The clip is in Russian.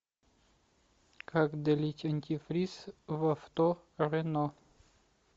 как долить антифриз в авто рено